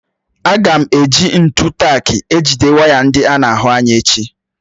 Aga m èji ntụ tak ejide waya ndị ána ahụ ányà echi